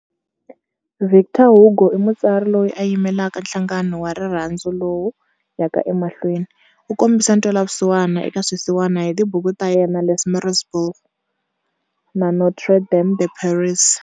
Victor Hugo i mutsari loyi a yimelaka nhlangano wa rirhandzu lowu yaka emahlweni. U kombise ntwelavusiwana eka swisiwana hi tibuku ta yena"Les Miserables" na"Notre Dame de Paris".